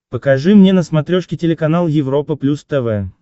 покажи мне на смотрешке телеканал европа плюс тв